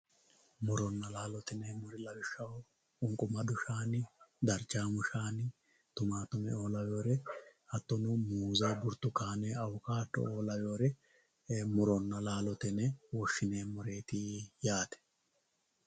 muronna laalo yinanniri lawishshaho qunqumadu shaani darchaamu shaani tumaatumeoo lawewoore hattono muuzza burtukaane awukaado"oo lawewoore muronna laalote yine woshshineemmoreeti yaate.